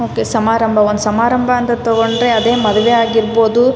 okay ಸಂರಂಭ ಒಂದ್ ಸಮಾರಂಭ ಅಂತ ತಗೊಂಡ್ರೆ ಅದೇ ಮದುವೆ ಆಗಿರ್ಬಹುದು --